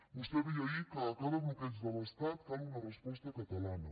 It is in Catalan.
vostè deia ahir que a cada bloqueig de l’estat cal una resposta catalana